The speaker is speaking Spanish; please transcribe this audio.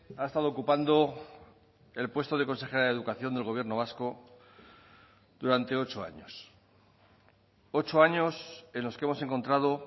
ha estado ocupando el puesto de consejera de educación del gobierno vasco durante ocho años ocho años en los que hemos encontrado